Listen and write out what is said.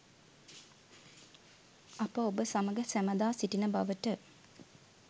අප ඔබ සමග සැමදා සිටින බවට